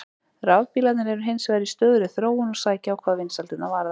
Rafbílarnir eru hins vegar í stöðugri þróun og sækja á hvað vinsældirnar varðar.